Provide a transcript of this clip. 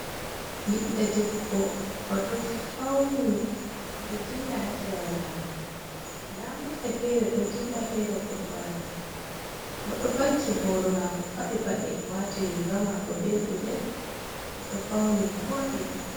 Ɓiɗɗo debbo, oɗo dilla hasera lawol. nda mota fere ɗo dilla fere bo ɗo wara. oɗo vakki boro mako faɗi paɗe wati rigavmako be gudel oɗo fauni voɗi.